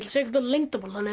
segja ykkur leyndarmál þannig að